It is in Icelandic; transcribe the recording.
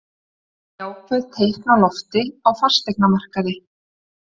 Jákvæð teikn á lofti á fasteignamarkaði